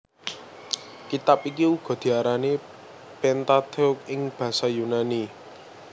Kitab iki uga diarani Pentateuch ing basa Yunani